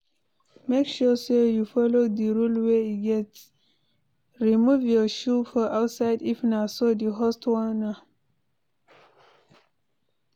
Make sure say you follow the rules wey e get eg. remove your shoe for outside if na so the host want am